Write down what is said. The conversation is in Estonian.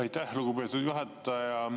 Aitäh, lugupeetud juhataja!